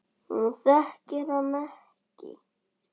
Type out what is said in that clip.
Hún þekkir hann ekki.